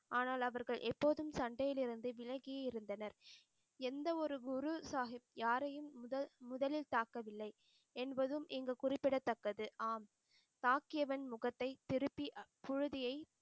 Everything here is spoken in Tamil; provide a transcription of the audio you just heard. ஆனால் அவர்கள் எப்போதும் சண்டையிலிருந்து விலகியே இருந்தனர். எந்த ஒரு குரு சாஹிப் யாரையும் முதல்~முதலில் தாக்கவில்லை என்பதும் இங்கு குறிப்பிடத்தக்கது. ஆம். தாக்கியவன் முகத்தை திருப்பி புழுதியை